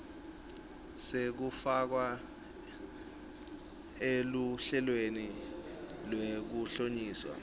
sekufakwa eluhlelweni lwekuhlonyiswa